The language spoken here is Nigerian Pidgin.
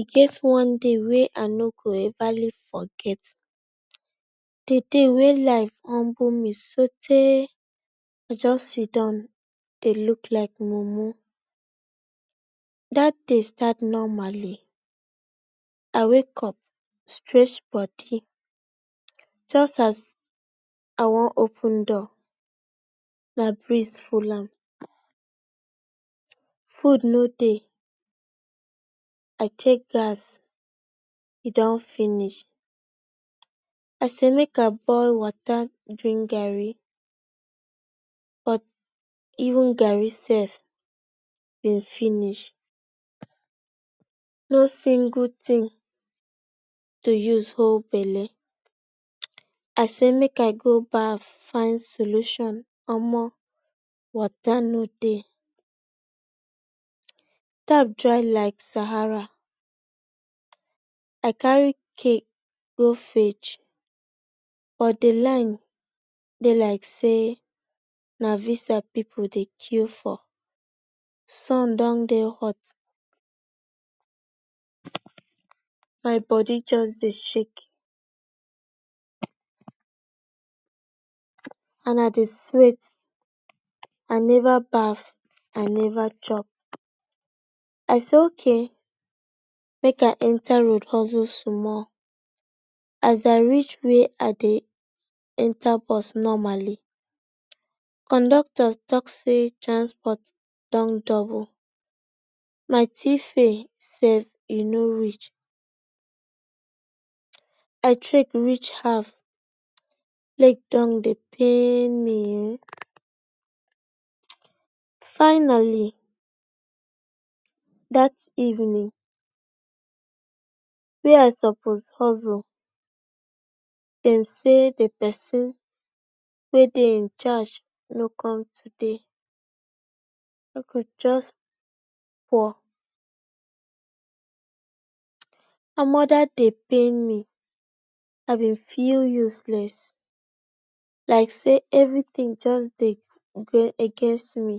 E get one day wey I no go Everly forget the day wey life humbu me soo tay I just sit-down dey look like mumu that day start nomaly stretch body just as I Wan open door na breeze hol am food no dey I take gas e don finish I say make I boil water drink garri but even garri self e finish no single thing to use hol belle I say make I go baff fin solution omor water no dey tap dry like Sahara I carry keg go fesh but the line dey like say na visa people dey kiu for sun Don dey hot my body just say shake and I dey swet I neva baff I neva chop I say ok make I enta road husul small as I reach where I dey enta bus normally conductor talk say transport Don double my tfare self e no reach I trek reach house leg Don dey pain me ehnn Finally that evening wey I suppose husule dem say the person wey dey incharge no dey today I go just omor that day pain me I be feel useless like say everything just dey go against me